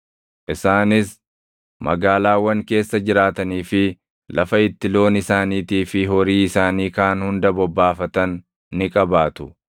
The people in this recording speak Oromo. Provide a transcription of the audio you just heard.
Isaanis magaalaawwan keessa jiraatanii fi lafa itti loon isaaniitii fi horii isaanii kaan hunda bobbaafatan ni qabaatu.